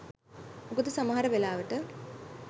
මොකද සමහර වෙලාවට